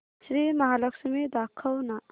श्री महालक्ष्मी दाखव ना